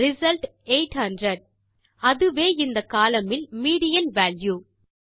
result 800 அதுவே இந்த column இல் மீடியன் வால்யூ